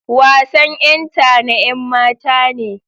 Wasan ƴenta na ƴanmata ne.